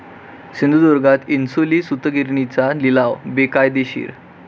सिंधुदुर्गात इन्सुली सूतगिरणीचा लिलाव बेकायदेशीर?